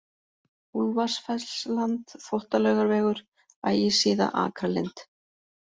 Úlfarsfellsland, Þvottalaugavegur, Ægisíða, Akralind